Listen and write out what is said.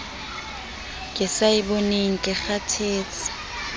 ke sa eboneng ke kgathetse